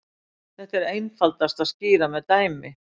Þetta er einfaldast að skýra með dæmi.